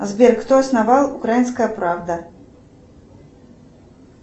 сбер кто основал украинская правда